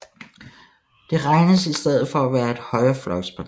Det regnes i stedet for at være et højrefløjsparti